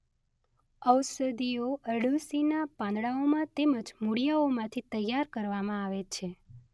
ઔષધિઓ અરડૂસીનાં પાંદડાંઓ તેમજ મુળિયાંઓમાંથી તૈયાર કરવામાં આવે છે.